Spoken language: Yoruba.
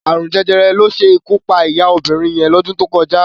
Arún Jẹjẹrẹ ló ṣé ikú pá iyá óbirin yẹn lọ́dún tó kọjá